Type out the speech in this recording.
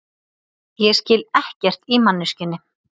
Ég skil ekkert í manneskjunni.